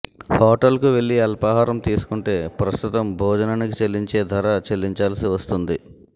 హోటల్కు వెళ్లి అల్పాహారం తీసుకుంటే ప్రస్తుతం భోజనానికి చెల్లించే ధర చెల్లించాల్సి వస్తోంది